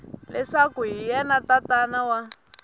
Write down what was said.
leswaku hi yena tatana wa